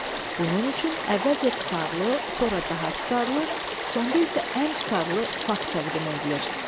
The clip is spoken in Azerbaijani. Bunun üçün əvvəlcə tutarlı, sonra daha tutarlı, sonda isə ən tutarlı fakt təqdim edilir.